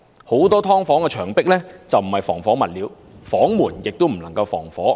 很多"劏房"的牆壁並非採用防火物料，房門亦不能防火。